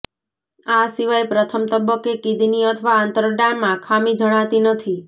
આ સિવાય પ્રથમ તબક્કે કિડની અથવા આંતરડાંમાં ખામી જણાતી નથી